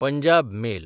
Punjab mail